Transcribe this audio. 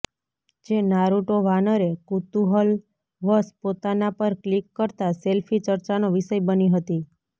જે નારુટો વાનરે કુતૂહલવશ પોતાના પર ક્લિક કરતાં સેલ્ફી ચર્ચાનો વિષય બની હતી